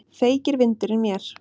Feykir vindurinn mér.